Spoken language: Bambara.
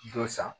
Dɔ san